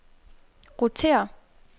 rotér